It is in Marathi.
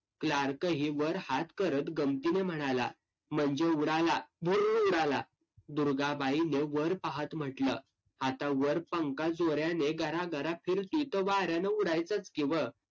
clerk हे वर हात करत गमंतीने म्हणाला, म्हणजे उडाला, भुरर उडाला. दुर्गाबाईने वर पाहत म्हंटलं, आता वर पंखा जोऱ्याने गरागरा फिरती तर वाऱ्यानं उडायचंच की वं